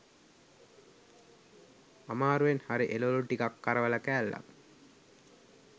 අමාරුවෙන් හරි එළවළු ටිකක් කරවල කෑල්ලක්